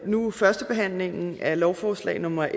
nu førstebehandlingen af lovforslag nummer